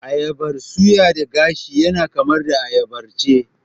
Ayabar suya da gashi yana kama da ayabar ci